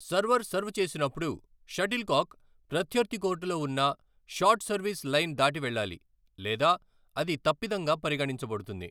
server serve చేసినప్పుడు, shuttlecock ప్రత్యర్థి కోర్టులో వున్న షార్ట్ సర్వీస్ లైన్ దాటి వెళ్ళాలి లేదా అది తప్పిదంగా పరిగణించబడుతుంది